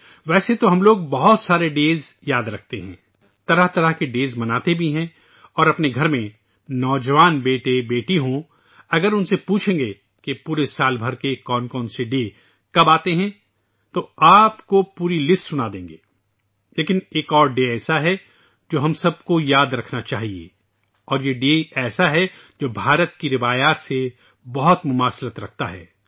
ویسے تو ہم لوگ بہت سارے دن یاد رکحتے ہیں ، مختلف قسم کے دن مناتے بھی ہیں ، اور اگر اپنے گھر میں جوان بیٹے اور بیٹیاں ہوں ، اگر ان سے پوچھیں گے تو سال بھر کے کون سے دن کب آتے ہیں ، آپ کو مکمل فہرست بتادیں گے ، لیکن ایک اور دن ایسا ہے جسے ہم سب کو یاد رکھنا چاہیے اور یہ دن ایسا ہے جو ہندوستان کی روایات کے عین مطابق ہے